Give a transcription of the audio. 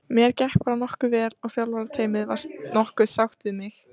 Mér gekk bara nokkuð vel og þjálfarateymið var nokkuð sátt við mig.